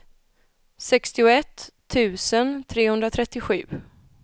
sextioett tusen trehundratrettiosju